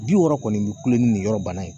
Bi wɔɔrɔ kɔni bi kulon ni nin yɔrɔ banna ye